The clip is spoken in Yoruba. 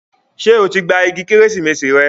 Ṣé o ti gba igi Kérésìmesì rẹ?